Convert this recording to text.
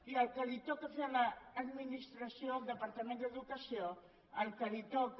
i el que li toca fer a l’administració al departament d’educació el que li toca